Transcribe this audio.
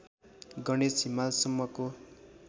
Ganesh हिमालसम्मको